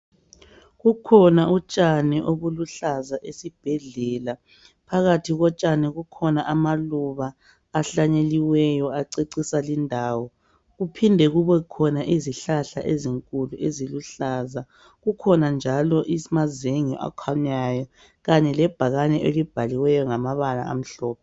Kukhona utshani obuluhlaza esibhedlela. Phakathi kotshani, kukhona amaluba, ahlanyeliweyo, acecisa lindawo. Kuphinde kubekhona izihlahla ezinkulu eziluhlaza. Kukhona njalo amazenge akhanyayo. Kanye lebhakane , elibhalwe ngamabala amhlophe.